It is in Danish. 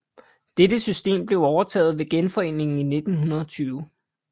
Dette system blev overtaget ved genforeningen i 1920